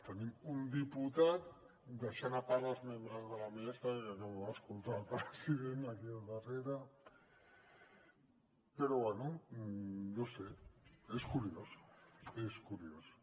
tenim un diputat deixant a part els membres de la mesa que acabo d’escoltar el president aquí al darrere però bé no ho sé és curiós és curiós